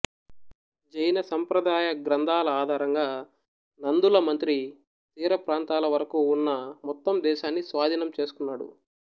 జైన సంప్రదాయగ్రంధాల ఆధారంగా నందులమంత్రి తీర ప్రాంతాల వరకు ఉన్న మొత్తం దేశాన్ని స్వాధీనం చేసుకున్నాడు